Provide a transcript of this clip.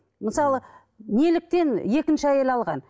мысалы неліктен екінші әйел алған